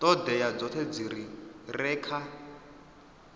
ṱhoḓea dzoṱhe dzi re kha